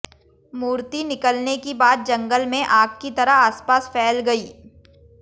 मूर्ति निकलने की बात जंगल में आग की तरह आसपास फैल गई